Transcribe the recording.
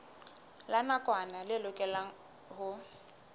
la nakwana le lokelwang ho